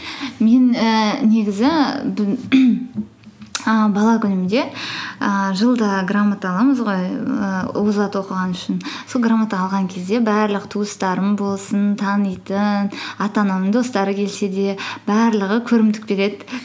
мен ііі негізі бала күнімде ііі жылда грамота аламыз ғой ііі озат оқыған үшін сол грамота алған кезде барлық туыстарым болсын танитын ата анамның достары келсе де барлығы көрімдік береді